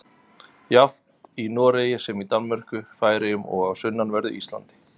Jafnt í Noregi sem í Danmörku, Færeyjum og á sunnanverðu Íslandi.